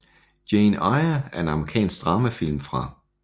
Jane Eyre er en amerikansk dramafilm fra